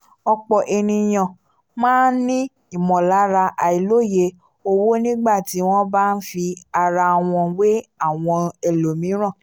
ọ̀pọ̀ ènìyàn máa n ní ìmọ̀lára àìlòye owó nígbà tí wọ́n bá n fi ara wọn wé àwọn ẹlòmíràn